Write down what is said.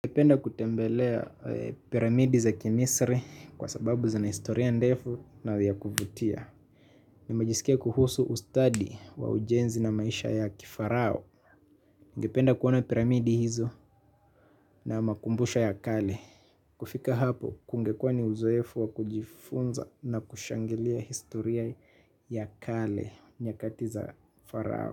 Ningependa kutembelea piramidi za kimisri kwa sababu zina historia ndefu na vya kuvutia nimejisikia kuhusu ustadi wa ujenzi na maisha ya kifarao. Ningependa kuona piramidi hizo na makumbusho ya kale. Kufika hapo kungekua ni uzoefu wa kujifunza na kushangilia historia ya kale. Nyakati za farao.